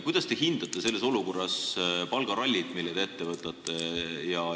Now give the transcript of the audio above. Kuidas te hindate selles olukorras palgarallit, mille te ette võtate?